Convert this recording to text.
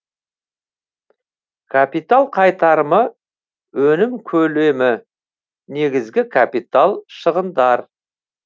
капитал қайтарымы өнім көлемі негізгі капитал шығындар